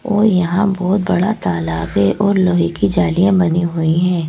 औ यहां बहुत बड़ा तालाब है और लोहे की जालियां बनी हुई हैं।